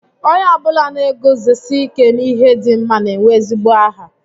Onye ọ bụla na-eguzosi ike n'ihe dị mma na-enwe ezigbo aha